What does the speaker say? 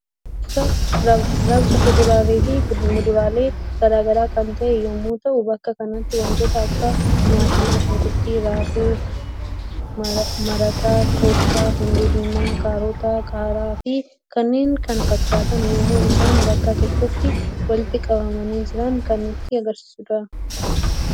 Bakka gurgurta fi raabsa fuduraalee fi muduraalee garagaraa kan ta'e yemmu ta'u bakka kanatti wantoota akka timaatimii, shunkurtaa, raafuu marata, qoosxaa, hundee diimaa, kaaroota, qaara, fi kanneen kana fakkatan yemmuu isaan bakka tokkotti walitti qabamani jiran kan nutti agarsiisuudha.